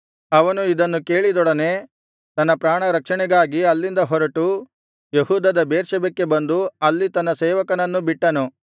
ಅವನು ಇದನ್ನು ಕೇಳಿದೊಡನೆ ತನ್ನ ಪ್ರಾಣ ರಕ್ಷಣೆಗಾಗಿ ಅಲ್ಲಿಂದ ಹೊರಟು ಯೆಹೂದದ ಬೇರ್ಷೆಬಕ್ಕೆ ಬಂದು ಅಲ್ಲಿ ತನ್ನ ಸೇವಕನನ್ನು ಬಿಟ್ಟನು